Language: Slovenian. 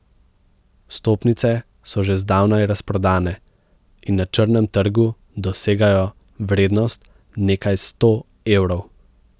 Vstopnice so že zdavnaj razprodane in na črnem trgu dosegajo vrednost nekaj sto evrov.